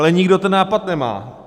Ale nikdo ten nápad nemá.